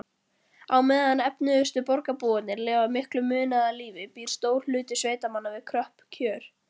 Á meðan efnuðustu borgarbúarnir lifa miklu munaðarlífi býr stór hluti sveitamanna við kröpp kjör.